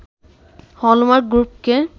hallmark গ্রুপকে